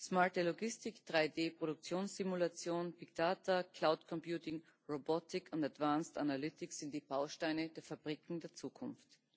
Smarte Logistik, 3D Produktionssimulation, Big Data, Cloud Computing, Robotik und Advanced Analytics sind die Bausteine der Fabriken der Zukunft.